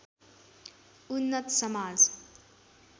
उन्नत समाज